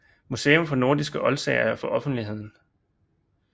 Museum for Nordiske Oldsager for offentligheden